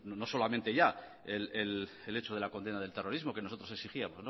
no solamente ya el hecho de la condena del terrorismo que nosotros exigíamos